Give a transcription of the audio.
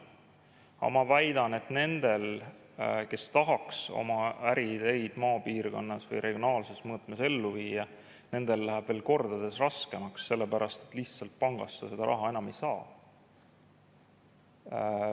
Aga ma väidan, et nendel, kes tahaks oma äriideid maapiirkonnas või regionaalses mõõtmes ellu viia, läheb veel kordades raskemaks, sellepärast et lihtsalt pangast sa enam raha ei saa.